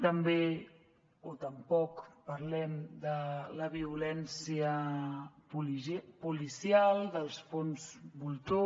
també o tampoc parlem de la violència policial dels fons voltor